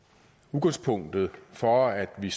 udgangspunktet for at vi